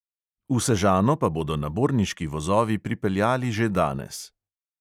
V sežano pa bodo naborniški vozovi pripeljali že danes.